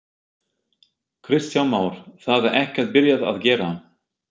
Kristján Már: Það er ekkert byrjað að gera?